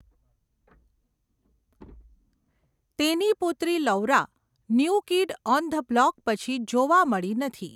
તેની પુત્રી Laura 'new kid on the block' પછી જોવા મળી નથી.